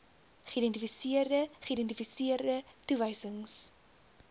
geïdentifiseerde geïdentifiseerde toewysings